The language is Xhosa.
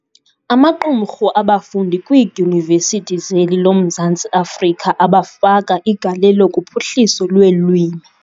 Amaqumrhu abafundi kwiiDyunivesithi zeli lomzantsi Afrika abafaka igalelo kuphuhliso lweelwimi.